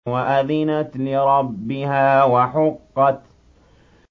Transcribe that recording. وَأَذِنَتْ لِرَبِّهَا وَحُقَّتْ